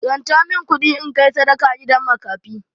Ranta min kuɗi in kai sadaka gidan makafi.